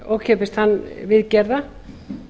ókeypis tannviðgerða um